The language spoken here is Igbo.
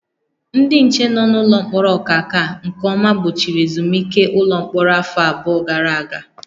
Ndị nche nọ n'ụlọ mkpọrọ Ọkaka nke ọma gbochiri ezumike ụlọ mkpọrọ afọ abụọ gara aga